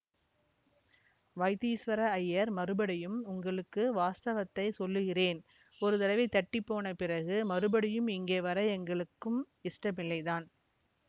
வைத்தீசுவர ஐயர் மறுபடியும் உங்களுக்கு வாஸ்தவத்தைச் சொல்லுகிறேன் ஒரு தடவை தட்டி போன பிறகு மறுபடியும் இங்கே வர எங்களுக்கும் இஷ்டமில்லை தான்